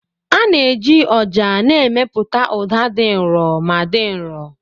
A na-eji ọjà na-emepụta ụda dị nro ma dị nro.